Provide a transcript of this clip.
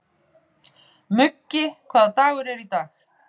Muggi, hvaða dagur er í dag?